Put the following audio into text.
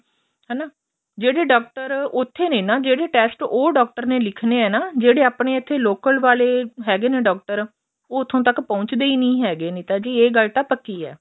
ਹਣਾ ਜਿਹੜੇ ਡਾਕਟਰ ਉੱਥੇ ਨੇ ਨਾ ਜਿਹੜੇ test ਉਹ ਡਾਕਟਰ ਨੇ ਲਿਖਣੇ ਆ ਜਿਹੜੇ ਆਪਣੇ ਇੱਥੇ local ਵਾਲੇ ਹੈਗੇ ਨੇ ਡਾਕਟਰ ਉਹ ਉੱਥੋ ਤੱਕ ਪਹੁੱਚ ਦੇ ਹੀ ਨਹੀਂ ਹੈਗੇ ਨਹੀਂ ਇਹ ਗੱਲ ਤਾ ਪੱਕੀ ਏ